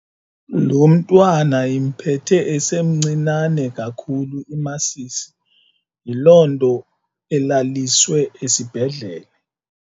Lo mntwana impethe esemncinane kakhulu imasisi yiloo nto elalisiwe esibhedlele.